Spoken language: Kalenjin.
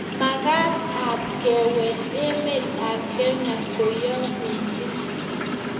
maget ab kewech emet ab kenya ko yo mising